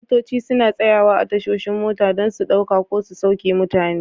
Motoci suna tsayawa a tashoshin mota don su ɗauka ko su sauke mutane.